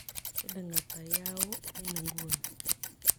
Siling' ata yahoo eng' ing'uni